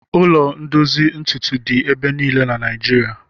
Ụlọ ndozi ntutu dị ebe niile na Naijirịa.